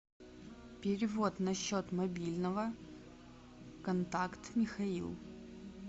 перевод на счет мобильного контакт михаил